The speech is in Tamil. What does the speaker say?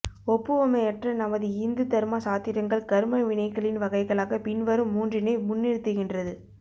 ஒப்புவமையற்ற நமது இந்து தர்ம சாத்திரங்கள் கர்ம வினைகளின் வகைகளாக பின்வரும் மூன்றினை முன்னிறுத்துகின்றது